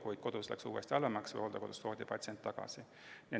Kui kodus või hooldekodus läks uuesti halvemaks, toodi patsient tagasi.